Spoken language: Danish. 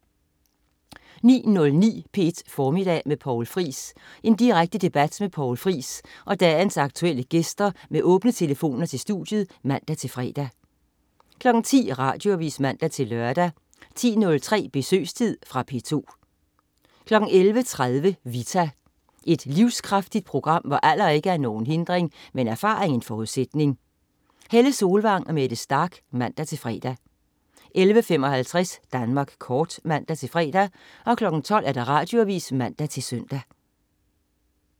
09.09 P1 Formiddag med Poul Friis. Direkte debat med Poul Friis og dagens aktuelle gæster med åbne telefoner til studiet (man-fre) 10.00 Radioavis (man-lør) 10.03 Besøgstid. Fra P2 11.30 Vita. Et livskraftigt program, hvor alder ikke er nogen hindring, men erfaring en forudsætning. Helle Solvang og Mette Starch (man-fre) 11.55 Danmark Kort (man-fre) 12.00 Radioavis (man-søn)